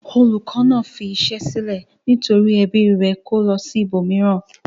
Olùkọ́ náà fi iṣẹ́ sílẹ̀ nítorí ẹbí rẹ̀ kó lọ ibòmíràn.